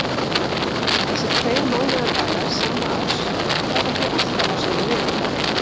Þessir tveir mánaðardagar sama árs falla því alltaf á sama vikudag.